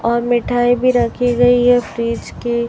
और मिठाई भी रखी गई है फ्रिज की--